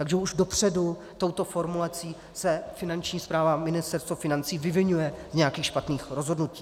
Takže už dopředu touto formulací se Finanční správa a Ministerstvo financí vyviňuje z nějakých špatných rozhodnutí.